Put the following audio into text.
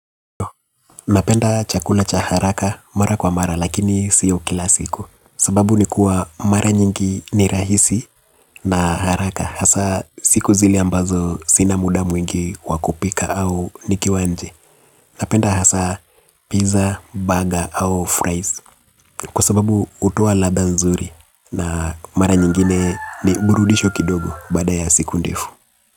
Napenda chakula cha haraka mara kwa mara lakini siyo kila siku. Sababu ni kuwa mara nyingi ni rahisi na haraka. Hasa siku zile ambazo sina muda mwingi wakupika au nikiwa nje. Napenda hasa pizza, burger au fries. Kwa sababu utuwa ladha nzuri na mara nyingine ni burudisho kidogo bada ya siku ndefu.